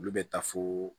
Olu bɛ taa foo